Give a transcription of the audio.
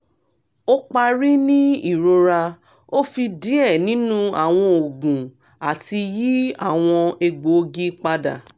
o pari ni irora o fi diẹ ninu awọn oogun ati yi awọn egboogi pada